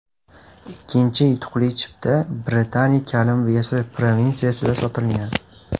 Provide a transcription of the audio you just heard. Ikkinchi yutuqli chipta Britaniya Kolumbiyasi provinsiyasida sotilgan.